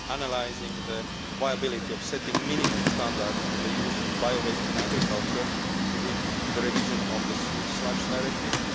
analysing the viability of setting minimum standards for the use of bio waste in agriculture within the revision of the Sewage Sludge Directive